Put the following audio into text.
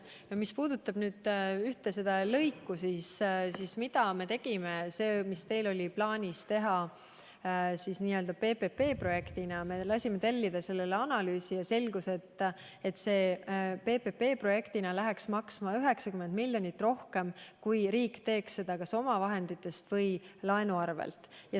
Ja mis puudutab seda ühte lõiku, mis teil oli plaanis teha PPP-projektina, siis me lasime tellida selle kohta analüüsi ja selgus, et PPP-projektina läheks see maksma 90 miljonit eurot rohkem kui siis, kui riik teeks seda kas omavahenditega või laenu varal.